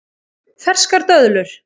Ferskar döðlur